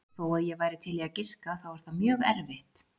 Þó að ég væri til í að giska þá er það mjög erfitt.